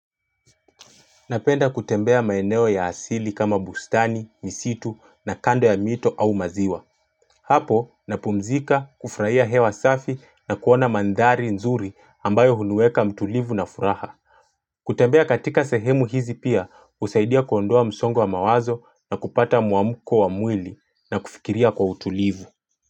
Napenda kutembea maeneo ya asili kama bustani, misitu na kando ya mito au maziwa. Hapo, napumzika kufraia hewa safi na kuona mandhari nzuri ambayo huniweka mtulivu na furaha. Kutembea katika sehemu hizi pia, usaidia kuondoa msongo wa mawazo na kupata muamuko wa mwili na kufikiria kwa utulivu.